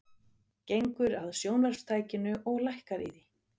Gengur að sjónvarpstækinu og lækkar í því.